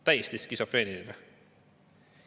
Täiesti skisofreeniline!